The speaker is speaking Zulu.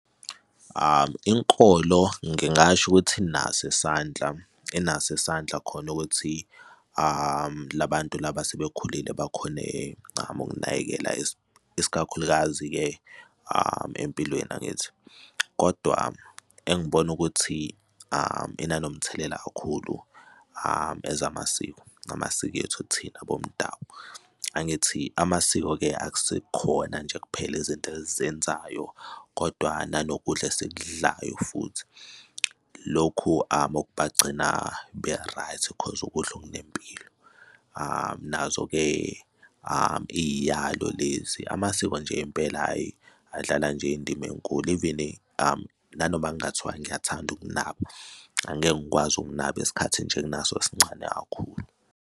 Inkolo ngingasho ukuthi inaso isandla, inaso isandla khona ukuthi la bantu laba asebekhulile bakhone ukunakekela isikakhulukazi-ke empilweni, angithi? kodwa engibona ukuthi inomthelela kakhulu as amasiko ngamasiko ethu thina bomdabu. Angithi amasiko-ke akusekhona nje kuphela izinto esizenzayo kodwa nanokudla esikudlayo futhi. Lokhu okubagcina be-right 'cause ukudla okunempilo, nazo-ke iy'yalo lezi amasiko nje impela, hhayi, adlala nje indima enkulu even nanoma kungathiwa ngiyathanda ukunaba angeke ngikwazi ukunabo isikhathi nje enginaso sincane kakhulu.